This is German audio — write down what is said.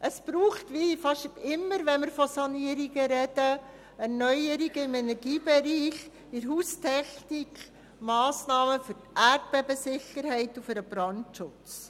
Es braucht – wie fast immer, wenn wir von Sanierungen reden – Erneuerungen im Energiebereich, bei der Haustechnik, Massnahmen für die Erdbebensicherheit und für den Brandschutz.